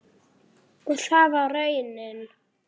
Og það var raunin.